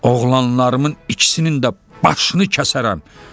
Oğlanlarımın ikisinin də başını kəsərəm,